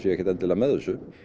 ekkert endilega með þessu